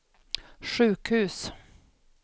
sjukhus